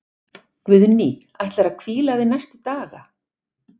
Guðný: Ætlar þú að hvíla þig næstu daga?